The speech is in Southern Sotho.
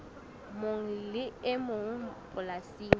mong le e mong polasing